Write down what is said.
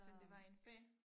Så det var en fag?